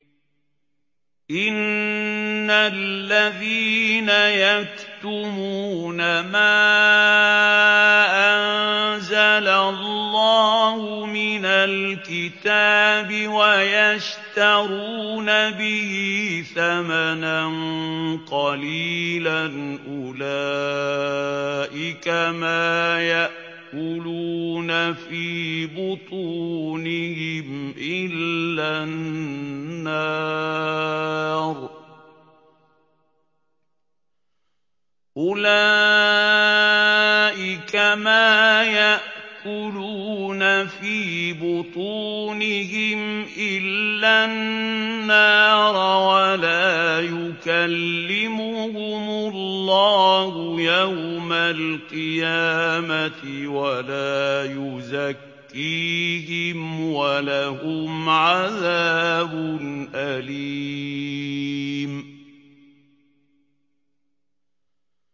إِنَّ الَّذِينَ يَكْتُمُونَ مَا أَنزَلَ اللَّهُ مِنَ الْكِتَابِ وَيَشْتَرُونَ بِهِ ثَمَنًا قَلِيلًا ۙ أُولَٰئِكَ مَا يَأْكُلُونَ فِي بُطُونِهِمْ إِلَّا النَّارَ وَلَا يُكَلِّمُهُمُ اللَّهُ يَوْمَ الْقِيَامَةِ وَلَا يُزَكِّيهِمْ وَلَهُمْ عَذَابٌ أَلِيمٌ